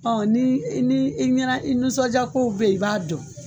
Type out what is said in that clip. Ɔ ni ni i ɲɛnɛ i nisɔnja kow be ye i b'a dɔn